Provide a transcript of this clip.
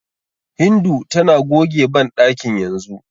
Hindu tana goge banɗakin yanzu.